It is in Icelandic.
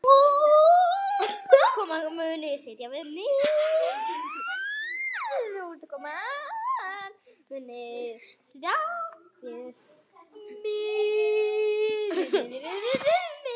Útkoman muni setja viðmið.